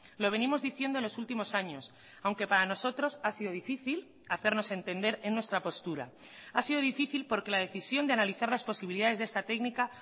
lo venimos diciendo en los últimos años aunque para nosotros ha sido difícil hacernos entender en nuestra postura ha sido difícil porque la decisión de analizar las posibilidades de esta técnica